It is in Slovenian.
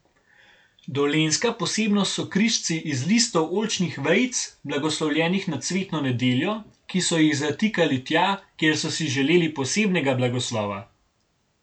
Dolenjska posebnost so križci iz listov oljčnih vejic, blagoslovljenih na cvetno nedeljo, ki so jih zatikali tja, kjer so si želeli posebnega blagoslova.